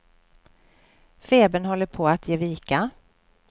Febern håller på att ge vika.